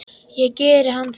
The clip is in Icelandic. Og gerði hann það?